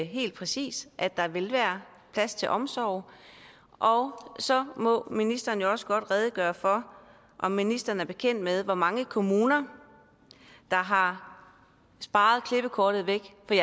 helt præcist at der vil være plads til omsorg og så må ministeren også godt redegøre for om ministeren er bekendt med hvor mange kommuner der har sparet klippekortet væk det